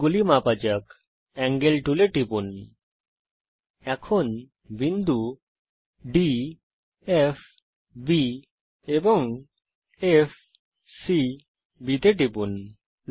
কোণগুলি মাপা যাক এঙ্গেল টুলে টিপুন বিন্দু D F B এবং F C B তে টিপুন